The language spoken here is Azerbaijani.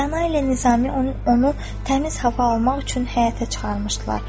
Rəna ilə Nizami onu təmiz hava almaq üçün həyətə çıxarmışdılar.